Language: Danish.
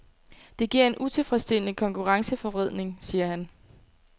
Det giver en utilfredsstillende konkurrenceforvridning, siger han.